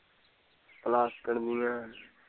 ਪਲਾਸਕਟ ਨੂੰ ਲੈਣ